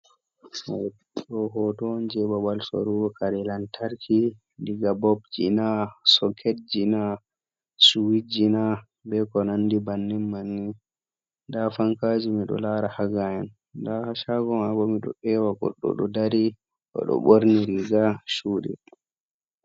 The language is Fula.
Ɗo hoto on jei babal sorugo kare lantarki, diga bulp ji na, soket ji na, switch ji na, be ko nandi bannin manni. Nda fankaji mido lara haa gaa'en. Nda haa shago mai bo miɗo ewa goɗɗo ɗo dari, o ɗo ɓorni riga shuɗi.